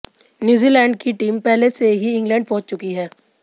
New Zealand की team पहले से ही इंग्लैंड पहुंच चुकी है